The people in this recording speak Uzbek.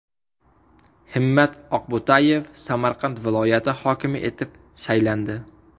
Himmat Oqbo‘tayev Samarqand viloyati hokimi etib saylandi.